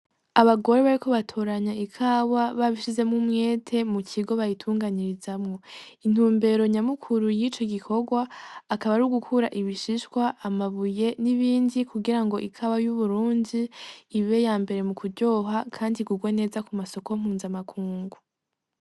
Abagore bako batoranya ikawa babishizemwo umwete mu kigo bayitunganyirizamwo intumbero nyamukuru y'ico gikorwa akaba ari ugukura ibishishwa amabuye n'ibindi kugira ngo ikawa y'uburunzi ibe ya mbere mu kuryoha, kandi gurwa neza ku masoko mpunza amakungu.